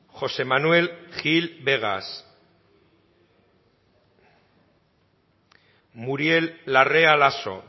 josé manuel gil vegas muriel larrea laso